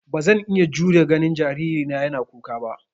Ba zan iya jurewa ganin jaririna yana kuka ba.